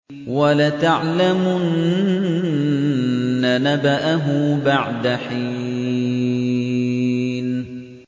وَلَتَعْلَمُنَّ نَبَأَهُ بَعْدَ حِينٍ